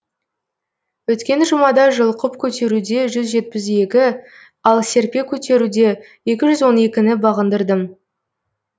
өткен жұмада жұлқып көтеруде жүз жетпіс екі ал серпе көтеруде екі жүз он екіні бағындырдым